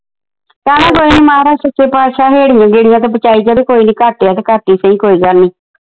ਚੱਲ ਕੋਈ ਨਹੀਂ ਮਹਾਰਾਜ ਸੱਚੇ ਪਾਤਸ਼ਾਹ ਹੇੜੀਆ ਗੇੜੀਆ ਤੋਂ ਬਚਾਈ ਜਾਵੇ ਕੋਈ ਨਹੀਂ ਘੱਟ ਆ ਤੇ ਘੱਟ ਈ ਸਹੀ ਕੋਈ ਗੱਲ ਨਹੀਂ।